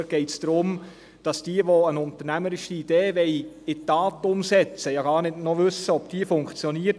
Dort geht es darum, dass diejenigen, die eine unternehmerische Idee in die Tat umsetzten wollen, noch gar nicht wissen, ob diese funktioniert.